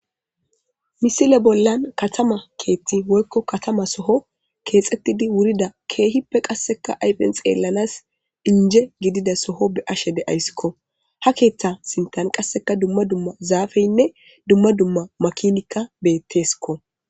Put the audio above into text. Misile bollan katama keethti woykko katama soho keexettidi wurida keehippe qasseka ayphen xeellanas dinje gidida soho be ashe deayssikko ha keeththa sintan qasseka dumma dumma zaafeynne dumma dumma makinikka beetteskko.